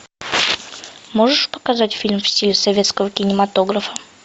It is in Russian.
можешь показать фильм в стиле советского кинематографа